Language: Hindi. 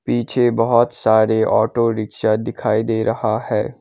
पीछे बहोत सारे ऑटो रिक्शा दिखाई दे रहा है।